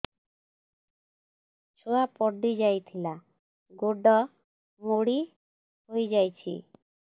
ଛୁଆ ପଡିଯାଇଥିଲା ଗୋଡ ମୋଡ଼ି ହୋଇଯାଇଛି